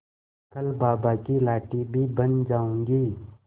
कल बाबा की लाठी भी बन जाऊंगी